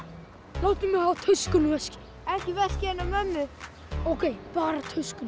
látið mig hafa töskuna og veskið ekki veskið hennar mömmu ókei bara töskuna